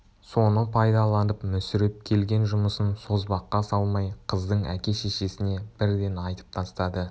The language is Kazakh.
соны пайдаланып мүсіреп келген жұмысын созбаққа салмай қыздың әке-шешесіне бірден айтып тастады